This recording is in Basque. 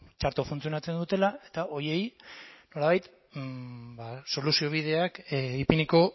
txarto funtzionatzen dutela eta horiei nolabait ba soluziobideak ipiniko